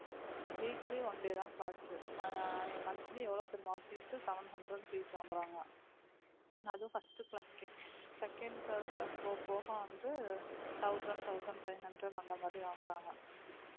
weekly one day தான் class உ mo~ monthly எவ்வளவு தெரியுமா fees seven hundred fees வாங்குறாங்க அதுவும் first class க்கே second third class போகப் போக வந்து thousand thousand five hundred அந்த மாதிரி வாங்குறாங்க